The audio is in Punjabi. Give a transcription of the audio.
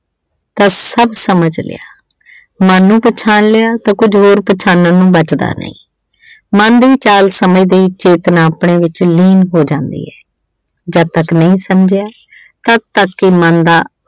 ਤੇ ਸਭ ਸਮਝ ਲਿਆ। ਮਨ ਨੂੰ ਪਛਾਣ ਲਿਆ ਤਾਂ ਕੁਝ ਹੋਰ ਪਛਾਨਣ ਨੂੰ ਬਚਦਾ ਨੀ। ਮਨ ਦੇ ਅਚਲ ਸਮੇਂ ਦੀ ਚੇਤਨਾ ਆਪਣੇ ਵਿੱਚ ਲੀਨ ਹੋ ਜਾਂਦੀ ਹੈ। ਜਦ ਤੱਕ ਨਹੀਂ ਸਮਝਿਆ ਤਦ ਤੱਕ ਹੀ ਮਨ ਦਾ